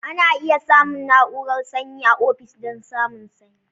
Ana iya samun na'urar sanyi a ofis don samun sanyi.